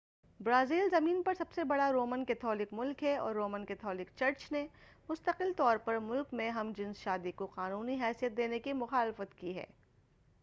Brazil زمین پر سب سے بڑا رومن کیتھولک ملک ہے اور رومن کیتھولک چرچ نے مستقل طور پر ملک میں ہم جنس شادی کو قانونی حیثیت دینے کی مخالفت کی ہے